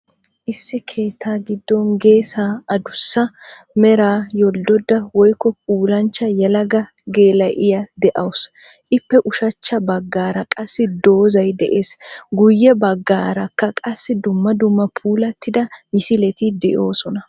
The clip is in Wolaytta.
Issi keetta giddon geesaa addussa meraa yoldodda woyikko pullancha yeelaga geela^iyaa de^awusu. Ippe ushshaacha bagaara qaasi dozayi de^ees. Guuyee bagaarakka qaasi dumma dumma puullatida misileti de^oosona